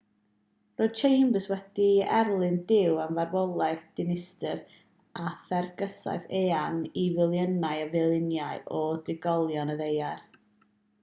roedd chambers wedi erlyn duw am farwolaeth dinistr a therfysgaeth eang i filiynau ar filiynau o drigolion y ddaear